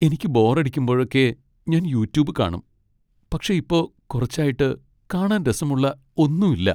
എനിക്ക് ബോറടിക്കുമ്പോഴൊക്കെ ഞാൻ യൂട്യൂബ് കാണും . പക്ഷെ ഇപ്പോ കുറച്ചായിട്ട് കാണാൻ രസമുള്ള ഒന്നും ഇല്ല.